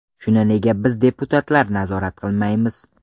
Shuni nega biz deputatlar nazorat qilmaymiz.